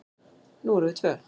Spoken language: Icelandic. Nú erum við tvö.